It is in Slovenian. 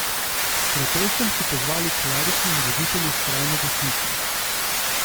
K protestom so pozvali kleriki in voditelji skrajne desnice.